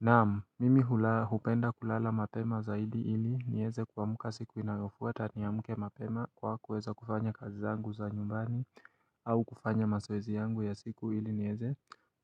Naam, mimi hula hupenda kulala mapema zaidi ili niweze kuamuka siku inayofuata niamke mapema kwa kuweza kufanya kazi zangu za nyumbani au kufanya mazoezi yangu ya siku ili niweze